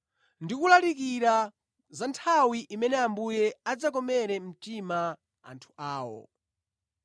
ndi kulalikira za nthawi imene Ambuye adzakomere mtima anthu awo.”